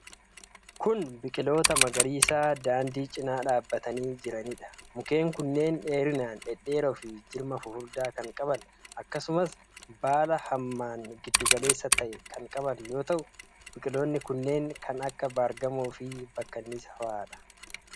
Kun, biqiloota magariisaa daandii cinaa dhaabatanii jiranii dha. Mukkeen kunneen dheerinaan dhedheeroo fi jirma fufurdaa kan qaban akkasumas baala hammaan giddu galeessa ta;e kan qaban yoo ta'u, biqiloonni kunneen kan akka baargamoo fi bakkanniisa faa dha.